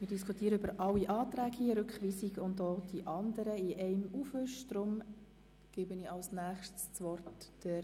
Wir diskutieren hier über alle Anträge in einem Aufwisch, über den Antrag auf Rückweisung und auch die anderen Anträge.